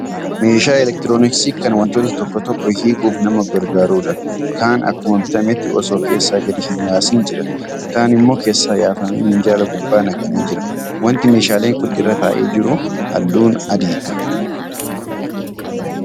Meeshaa elektirooniksii kan wantoota tokko tokko hiikuuf nama gargaarudha. Kaan akkuma bitametti osoo keessa gadi hin yaasin jira. Kaan immoo keessaa yaafamee minjaala gubbaa naqamee jira. Wanti meeshaaleen Kun irra taa'ee jiru halluun adiidha.